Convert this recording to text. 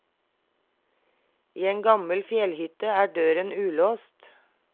I en gammel fjellhytte er døren ulåst.